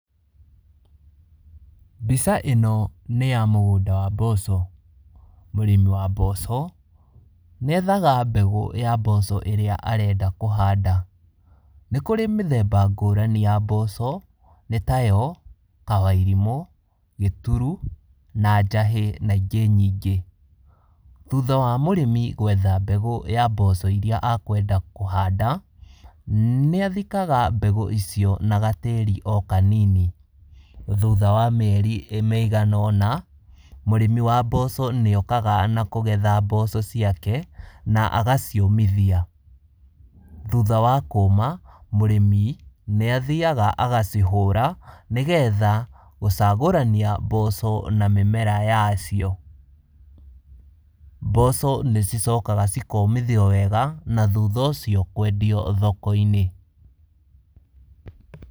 Mbica ĩno nĩ ya mũgũnda wa mboco. Mũrĩmi wa mboco nĩ ethaga mbegũ ya mboco ĩrĩa arenda kũhanda. Nĩ kũrĩ mĩthemba ngũrani ya mboco, nĩ tayo, kawairimũ, gĩturu na njahĩ na ingĩ nyingĩ. Thutha wa mũrĩmi gwetha mbegũ ya mboco iria akwenda kũhanda, nĩathikaga mbegũ icio na gatĩri o kanini. Thutha wa mieri ĩigana ũna, mũrĩmi wa mboco nĩokaga na kũgetha mboco ciake na agaciũmithia. Thutha wa kũma, mũrĩmi, nĩ athiaga agacihũra nĩgetha gũcagũrania mboco na mĩmera yacio. Mboco nĩcicokaga cikomithio wega na thutha ũcio kwendio thoko-inĩ.